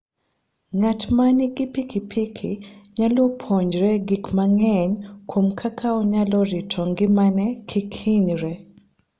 Ng'at ma nigi pikipiki nyalo puonjore gik mang'eny kuom kaka onyalo rito ngimane kik hinyre.